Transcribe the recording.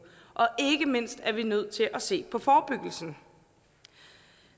og ikke mindst er vi nødt til at se på forebyggelsen